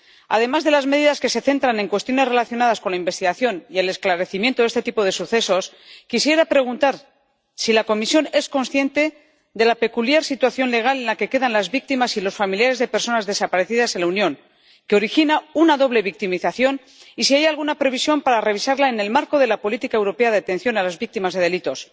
Además de las medidas que se centran en cuestiones relacionadas con la investigación y el esclarecimiento de este tipo de sucesos, quisiera preguntar si la Comisión es consciente de la peculiar situación legal en la que quedan las víctimas y los familiares de personas desaparecidas en la Unión, que origina una doble victimización, y si hay alguna previsión para revisarla en el marco de la política europea de atención a las víctimas de delitos.